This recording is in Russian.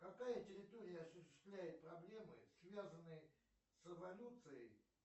какая территория осуществляет проблемы связанные с эволюцией